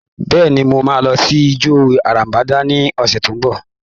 Bẹ́ẹ̀ni, mo máa lọ sí ìjọ Ìràpadà ní ọ̀sẹ̀ tí ó ń bọ̀.